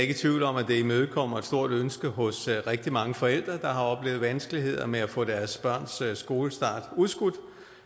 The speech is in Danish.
i tvivl om at det imødekommer et stort ønske hos rigtig mange forældre der har oplevet vanskeligheder med at få deres barns skolestart udskudt